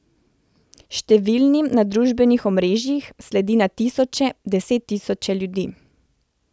Številnim na družbenih omrežjih sledi na tisoče, desettisoče ljudi.